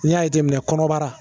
N'i y'a jateminɛ kɔnɔbara